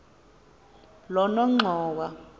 lonongxowa